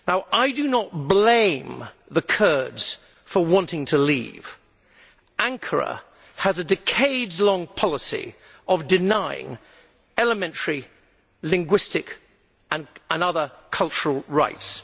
I do not blame the Kurds for wanting to leave. Ankara has a decades long policy of denying them elementary linguistic and other cultural rights.